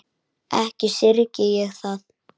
Ekki syrgi ég það.